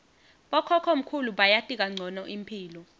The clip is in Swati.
bokhokhomkhulu bayati kancono imphilo